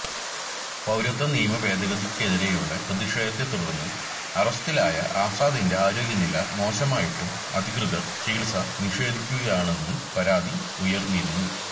പൌരത്വ നിയമ ഭേദഗതിക്കെതിരെയുള്ള പ്രതിഷേധത്തെ തുടർന്ന് അറസ്റ്റിലായ ആസാദിന്റെ ആരോഗ്യനില മോശമായിട്ടും അധികൃതർ ചികിത്സ നിഷേധിക്കുകയാണെന്ന് പരാതി ഉയർന്നിരുന്നു